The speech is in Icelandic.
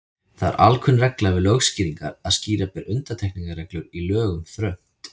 Það er alkunn regla við lögskýringar að skýra ber undantekningarreglur í lögum þröngt.